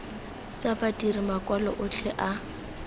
tsa badiri makwalo otlhe a